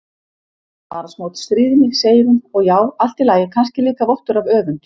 Bara smá stríðni, segir hún, og já, allt í lagi, kannski líka vottur af öfund.